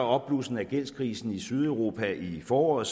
opblussen af gældskrisen i sydeuropa i foråret